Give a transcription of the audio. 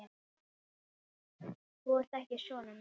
Þú ert ekki sonur minn.